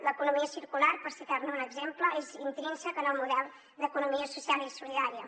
l’economia circular per citar ne un exemple és intrínsec en el model d’economia social i solidària